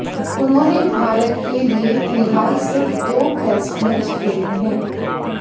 उन्होंने भारत के लिए फिलहाल सिर्फ दो टेस्ट मैच खेले हैं